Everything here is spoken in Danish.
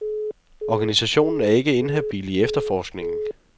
Organisationen er ikke inhabil i efterforskningen.